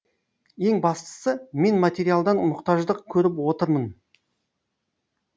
ең бастысы мен материалдан мұқтаждық көріп отырмын